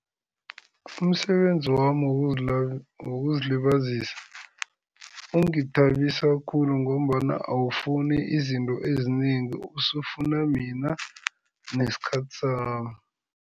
Umsebenzi wami wokuzilibazisa ungithabisa khulu ngombana awufuni izinto ezinengi, usufuna mina nesikhathi sami.